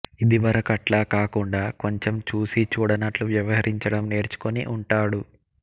ఇదివరకట్లా కాకుండా కొంచెం చూసీ చూడనట్లు వ్యవహరించడం నేర్చుకుని ఉంటాడు